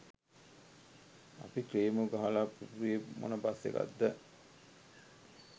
අපි ක්ලේමෝ ගහලා පිපුරුවේ මොන බස් එකක්ද